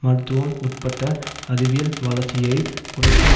மருத்துவம் உட்பட்ட அறிவியல் வளர்ச்சியை குறைக்கும்